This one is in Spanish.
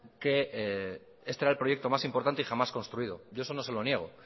que este era el proyecto más importante y jamás construido yo eso no se lo niego